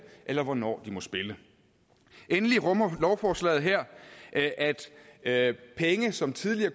eller hvornår de må spille endelig rummer lovforslaget her at at penge som tidligere